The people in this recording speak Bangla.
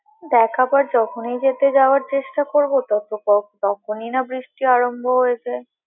দেখ আবার যখনই যেতে যাওয়ার চেষ্টা করবো, তখ~ তখনই না বৃষ্টি আরম্ভ হয়ে যায়।